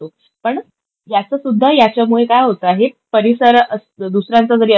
पण याचंसुद्धा याच्यामुळे काय होत आहे, परिसर दुसऱ्यांचा जरी असलंय,